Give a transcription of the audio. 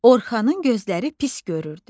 Orxanın gözləri pis görürdü.